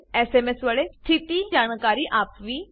SMS વડે સ્થિતિ જાણકારી આપવી